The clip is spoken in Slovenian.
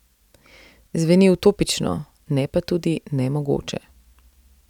Zveni utopično, ne pa tudi nemogoče.